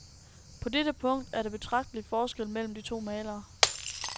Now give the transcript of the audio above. På dette punkt er der betragtelig forskel mellem de to malere.